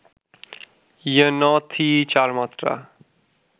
ইয়ে ন্য থিই’ চার মাত্রা